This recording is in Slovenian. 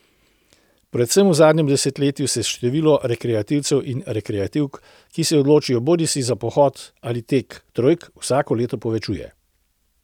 Predvsem v zadnjem desetletju se število rekreativcev in rekreativk, ki se odločijo bodisi za pohod ali tek trojk, vsako leto povečuje.